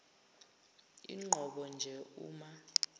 inqobo nje uma